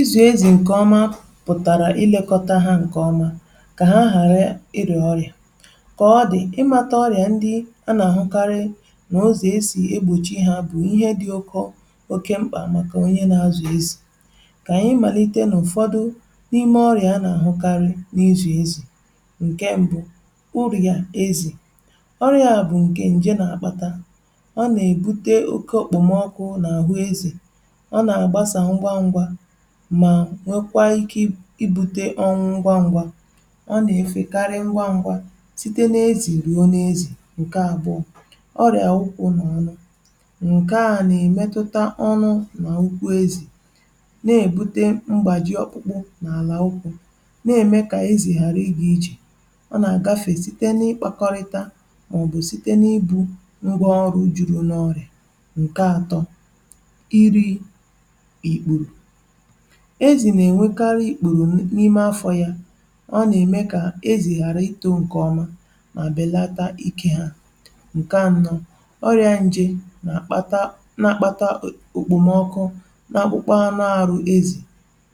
Ịzụ̀ ezì nke ọma pụtara ilekọta ha nke ọma, kà ha ghàrà ịrị̀ọ̀ ọrịa. Kà ọ dị̀, ịmàtà ọrịa ndị a nà-àhụkarị n’àzụ̀ ezì, è sì e gbòchi ha, bụ̀ ihe dị́ ụkọ, um oke mkpa, màkà onye na-azụ̀ ezì. Ka ànyị màlite n’ụ̀fọdụ n’ime ọrịa a nà-àhụkarị n’azụ̀ ezì. Nke mbụ̇ urì yà ezì, ọrịa bụ̀ nke ǹje nà-àkpata. Ọ nà-èbute oke òkpòmọkụ̇ n’àhụ ezì, ma nwekwa ike ibute ngwa ngwa. Ọ nà-èfekarị ngwa ngwa site n’ezì rìò n’ezì. Nke àbụọ̇ ọrịa ukwu n’anụ, nke a nà-èmetụta ọnụ nà ukwu ezì, na-èbute mgbaji ọkpụkpụ n’àlà ukwu, na-ème kà ezì ghàrà ịgà iji. Ọ nà-àgafe site n’ịkpakọ̇rịta, màọ̀bụ̀ site n’ibu ngwa ọrụ juru n’ọrịa. Nke atọ̇ um iri̇ ikpùrù ezì, nà-ènwekarị ikpùrù n’ime afọ̇ ya. Ọ nà-ème kà ezì ghàrà ito nke ọma, um mà bèlata ike ha. Nke anọ̇.. ọrịa njè, nà-àkpata okpòmọkụ nà-akpụkpa anụ àrụ ezì,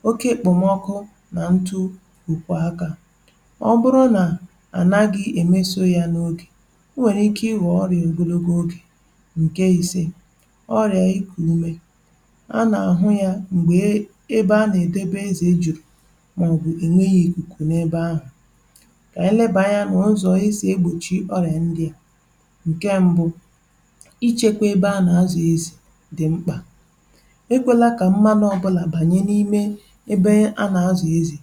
oke okpòmọkụ nà ntụ̀ ụ̀kwụ̀. Akà ọ bụrụ nà a naghị emeso ya n’ogè, ọ nwèrè ike ịpụta dịka ọrịa ogologo oge. Nke isė ọrịa ikùlùmé, a nà-àhụ ya mgbe e mà na ọ̀gwụ̀ ènwèghi̇ ìkùkù n’ebe ahụ̀. Kà ànyị lebànyer n’ụzọ̀ esi e gbòchi ọrịa ndị a. um Nke mbụ̇: Ichekwa ebe a nà-àzụ̀ ezì dị̀ mkpa. Egwòla kà mmanụ ọbụla bànyè n’ime ebe ahụ̀.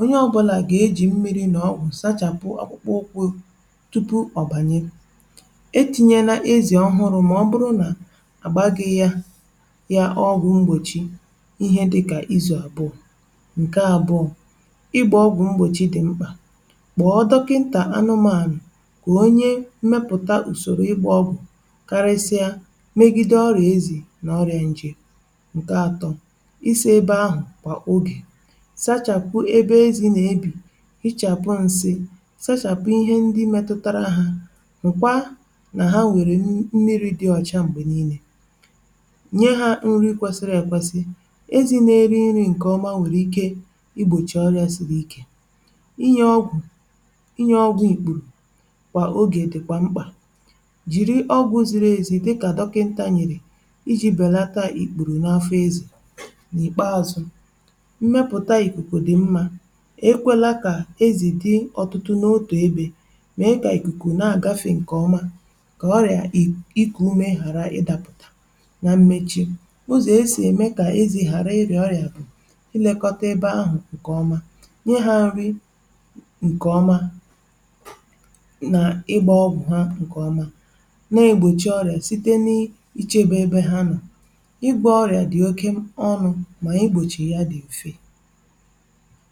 Onye ọbụla gà-ejì mmiri nà ọgwụ̀ sachàpụ akwụkwọ ụkwụ̇ tupu ọ bànyè̀. E tinyè nà ezì ọ̀hụrụ̀, mà ọbụrụ̀ nà àgbàghị ya. Nke àbụọ̇: Ịgbà ọgwụ̀ mgbòchi dị̀ mkpa. Kpọ̀ọ dọkịntà anụmànụ̀, kà onye mmepụ̀ta hụ̀ usoro igbà ọgwụ̀, karịsịa megide ọrịa ezì nà ọrịa njè. Nke atọ̇: Isi ebe um ahụ̀ kwa oge, sachàpụ̀ ebe ezì nà-ebi, hichàpụ̀ nsị, sachàpụ̀ ihe ndị metụtara ha. Hụ̀kwa nà ha nwèrè mmiri̇ dị ọ̀cha. Mgbe niile, nye ha nri kwesiri ekwesi... Ịgbòchì ọrịa siri ike bụ inyè ọgwụ̀ inyè ọgwụ̀ ikpùrù kwa oge dị̀kwa mkpa. Jiri ọgwụ̀ ziri ezì, dịkà dọkịntà nyèrì, iji̇ belata ikpùrù n’afọ ezì. N’ikpeazụ̀, um mmepùta ikuku dị̀ mma. E kwela kà ezì dị̀ ọtụtụ n’otu ebe, um mee kà ikùkù ghara ịgafe. Nke ọma kà ọrịa ikù ume ghàrà ịdapụ̀ta. Na mmechi.. bụzì̀, esì ème kà ezì ghàrà ịrì ọrịa nye ha nri nke ọma, nà ịgbà ọgwụ̀ ha nke ọma. Ị na-egbochi ọrịa site n’ichebe ebe ha, nà ịgbà ọgwụ̀ oge niile. Ọrịa dị oke ọnụ̇, mà igbòchì ya dị mfe.